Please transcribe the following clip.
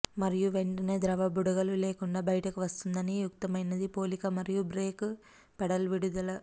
మరియు వెంటనే ద్రవ బుడగలు లేకుండా బయటకు వస్తుంది అని యుక్తమైనది పోలిక మరియు బ్రేక్ పెడల్ విడుదల